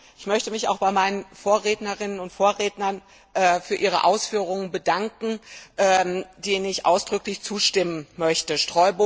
Ich möchte mich auch bei meinen Vorrednerinnen und Vorrednern für ihre Ausführungen bedanken, denen ich ausdrücklich zustimmen möchte.